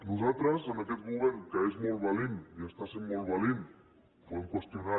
nosaltres a aquest govern que és molt valent i està sent molt valent podem qüestionar ho